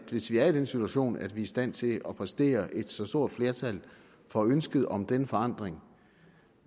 hvis vi er i den situation at vi er i stand til at præstere et så stort flertal for ønsket om denne forandring